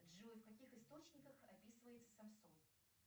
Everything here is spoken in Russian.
джой в каких источниках описывается самсон